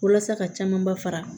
Walasa ka caman ba fara